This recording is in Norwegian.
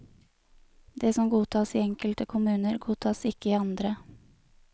Det som godtas i enkelte kommuner, godtas ikke i andre.